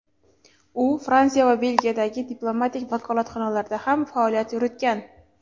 u Fransiya va Belgiyadagi diplomatik vakolatxonalarda ham faoliyat yuritgan.